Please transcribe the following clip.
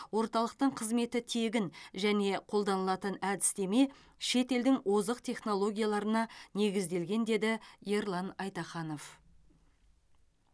орталықтың қызметі тегін және қолданылатын әдістеме шетелдің озық технологияларына негізделген деді ерлан айтаханов